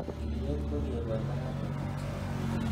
Ng'iriret ko kebol makatetab sokiot.